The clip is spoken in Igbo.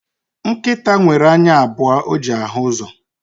Nkịta nwere anya abụọ o ji ahụ uzo